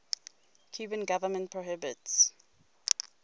cuban government prohibits